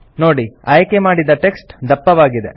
ನೋಡಿ ಆಯ್ಕೆ ಮಾಡಿದ ಟೆಕ್ಸ್ಟ್ ದಪ್ಪವಾಗಿದೆ